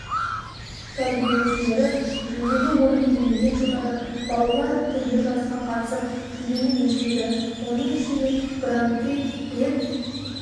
тәрбиеленушілері жүлделі орынды иеленген жылдары балалар түрлі жарысқа қатысып жүлдені еншіледі оның ішінде гран-при рет